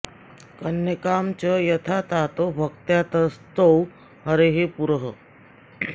कन्यकां च यथा तातो भक्त्या तस्थौ हरेः पुरः